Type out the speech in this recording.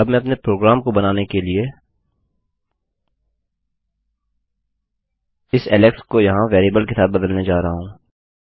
अब मैं अपने प्रोग्राम को बनाने के लिए इस ऐलेक्स को यहाँ वेरिएबल्स के साथ बदलने जा रहा हूँ